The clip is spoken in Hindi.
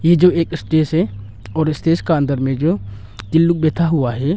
ये जो एक स्टेज है और स्टेज का अंदर में जो तीन लोग बैठा हुआ है।